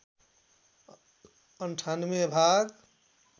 ९८ भाग